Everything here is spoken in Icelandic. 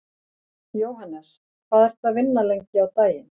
Jóhannes: Hvað ertu að vinna lengi á daginn?